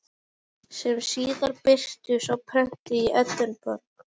sem síðar birtust á prenti í Edinborg.